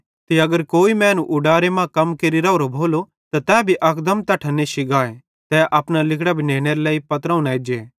ते अगर कोई मैनू उडारे मां कम केरि राओरो भोलो त तै भी अकदम तैट्ठां नेश्शी गाए तै अपना लिगड़ां भी नेनेरे लेइ पत्रोवं न एज्जे